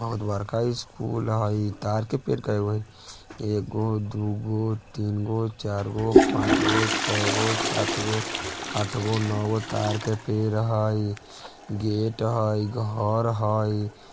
बहुत बड़का स्कूल हइ तार के पेड़ के गो हय एगो दूगो तिन गो चार गो पांच गो छ गो सात गो आठ गो नो गो तार के पेड़ हेय गेट हेय घर हेय।